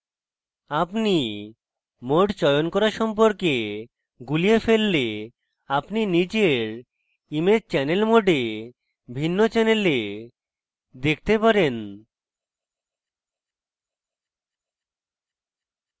আপনি mode চয়ন করা সম্পর্কে গুলিয়ে ফেললে আপনি নিজের image channels mode ভিন্ন channels দেখতে পারেন